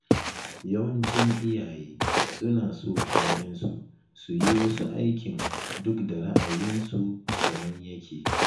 Yawancin iyaye suna so ‘ya’yansu su yi wasu aikin duk da ra’ayinsu daban yake.